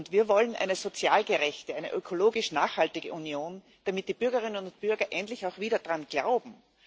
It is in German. Wir wollen eine sozial gerechte, eine ökologisch nachhaltige Union, damit die Bürgerinnen und Bürger endlich auch wieder daran glauben.